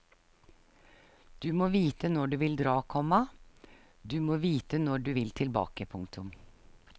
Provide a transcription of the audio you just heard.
Du må vite når du vil dra, komma du må vite når du vil tilbake. punktum